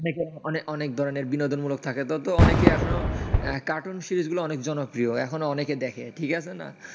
অনেক ধরনের বিনোদনমূলক থাকে তো, অনেকেই এখনও কার্টুন সিরিজ গুলো অনেক জনপ্রিয়, এখনো অনেকে দেখে ঠিক আছে না,